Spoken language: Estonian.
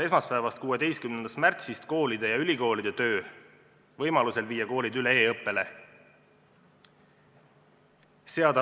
Esmaspäevast, 16. märtsist tuleb peatada koolide ja ülikoolide töö, võimaluse korral tuleb koolid viia üle e-õppele.